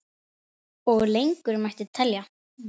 Og lengur mætti telja.